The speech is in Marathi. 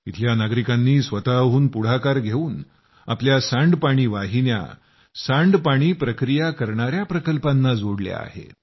इथल्या नागरिकांनी स्वतःहून पुढाकार घेऊन आपल्या सांडपाणी वाहिन्या सांडपाणी प्रक्रिया करणाया प्रकल्पांना जोडल्या आहेत